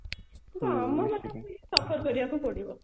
suffer କରିବାକୁ ପଡିବ